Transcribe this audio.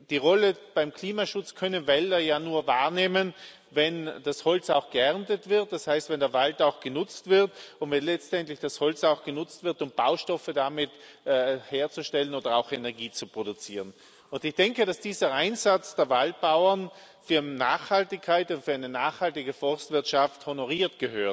Die Rolle beim Klimaschutz können Wälder ja nur wahrnehmen, wenn das Holz auch geerntet wird, das heißt, wenn der Wald auch genutzt wird, und wenn letztendlich das Holz auch genutzt wird, um Baustoffe damit herzustellen oder auch Energie zu produzieren. Dieser Einsatz der Waldbauern für Nachhaltigkeit und für eine nachhaltige Forstwirtschaft gehört honoriert,